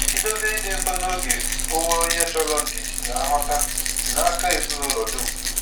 Ị̀dòzie ìdị nso na ògè onwe onye chọrọ ndidi na nghọ̀ta si n’aka ezinụlọ dum.